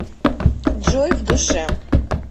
джой в душе